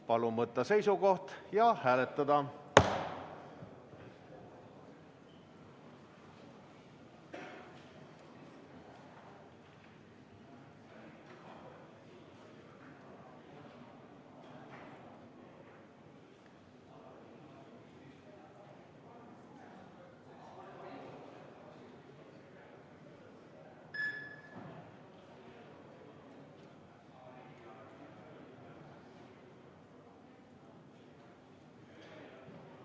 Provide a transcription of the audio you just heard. Palun võtta seisukoht ja hääletada!